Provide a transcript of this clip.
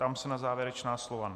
Ptám se na závěrečná slova.